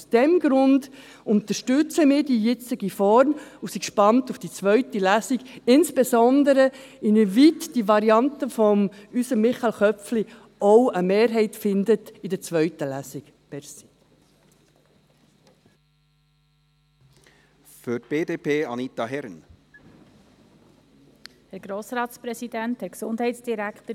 Aus diesem Grund unterstützen wir die jetzige Form und sind gespannt auf die zweite Lesung, insbesondere darauf, inwieweit die Variante von unserem Michael Köpfli in der zweiten Lesung eine Mehrheit finden wird.